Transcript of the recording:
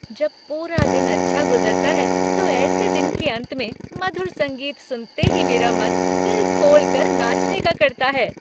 जब पूरा दिन अच्छा गुजरता है तो ऐसे दिन के अंत में मधुर संगीत सुनते ही मेरा मन दिल खोलकर नाचने का करता है।